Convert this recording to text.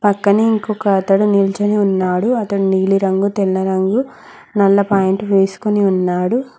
పక్కనే ఇంకొక అతడు నిల్చొని ఉన్నాడు అతను నీలిరంగు తెల్ల రంగు నల్ల పాయింట్ వేసుకొని ఉన్నాడు.